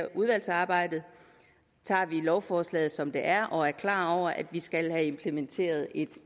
udvalgsarbejdet tager vi lovforslaget som det er og er klar over at vi skal have implementeret en